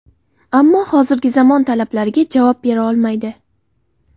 Ammo hozirgi zamon talablariga javob bera olmaydi.